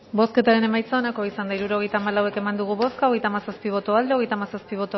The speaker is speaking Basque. bozketaren emaitza onako izan da hirurogeita hamalau eman dugu bozka hogeita hamazazpi boto aldekoa treinta y siete